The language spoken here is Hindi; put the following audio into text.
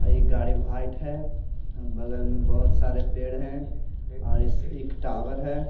और ये गाड़ी वाइट है बगल में बहोत सारे पेड़ हैं और इस एक टावर है।